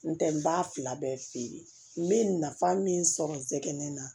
N tɛ n b'a fila bɛɛ feere n bɛ nafa min sɔrɔ n tɛ ne la